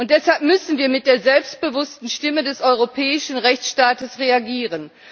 Deshalb müssen wir mit der selbstbewussten Stimme des europäischen Rechtsstaates reagieren.